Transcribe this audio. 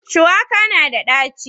shuwaka na da ɗaci